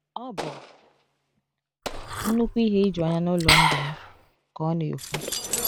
Ọ bụ nnukwu ihe ijuanya n’ụlọ ndụ m, ka ọ na-ekwu.